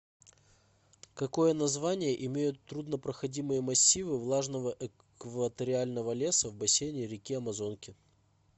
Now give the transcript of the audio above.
какое название имеют труднопроходимые массивы влажного экваториального леса в бассейне реки амазонки